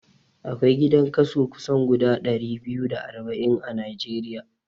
Akwai gidan kaso kusan guda ɗari biyu da arba'in a Najeriya